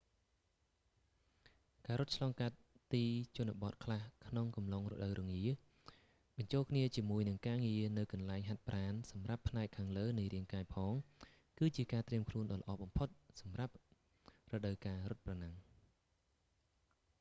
ការរត់ឆ្លងកាត់ទីជនបទខ្លះក្នុងអំឡុងរដូវរងា បញ្ចូលគ្នាជាមួយនឹងការងារនៅកន្លែងហាត់ប្រាណសម្រាប់ផ្នែកខាងលើនៃរាងកាយផង គឺជាការត្រៀមខ្លួនដ៏ល្អបំផុតសម្រាប់រដូវកាលរត់ប្រណាំង